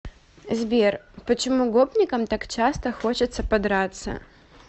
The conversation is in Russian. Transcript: сбер почему гопникам так часто хочется подраться